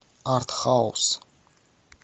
артхаус